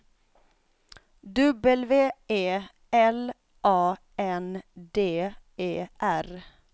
W E L A N D E R